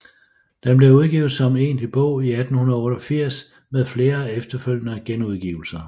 Den blev udgivet som egentlig bog i 1888 med flere efterfølgende genudgivelser